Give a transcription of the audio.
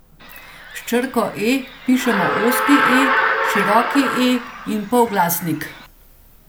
S črko e pišemo ozki e, široki e in polglasnik.